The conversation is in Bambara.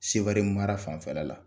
Seware mara fanfɛla la